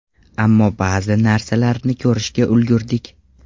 Ammo ba’zi narsalarni ko‘rishga ulgurdik.